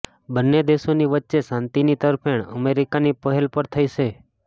બન્ને દેશોની વચ્ચે શાંતિની તરફેણ અમેરિકાની પહેલ પર થઈ છે